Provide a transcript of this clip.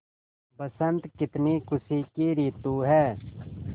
बसंत कितनी खुशी की रितु है